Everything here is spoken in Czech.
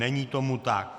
Není tomu tak.